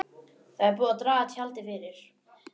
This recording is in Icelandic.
Það er búið að draga tjaldið fyrir.